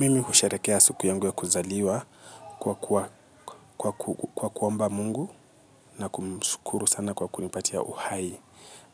Mimi husherehekea siku yangu ya kuzaliwa kwa kuomba mungu na kumshukuru san kwa kunipatia uhai.